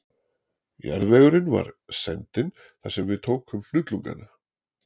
Jarðvegurinn var sendinn þar sem við tókum hnullungana